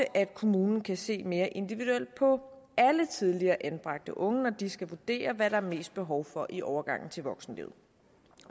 at kommunerne kan se mere individuelt på alle tidligere anbragte unge når de skal vurdere hvad der er mest behov for i overgangen til voksenlivet